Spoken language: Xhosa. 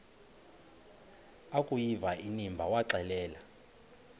akuyiva inimba waxelela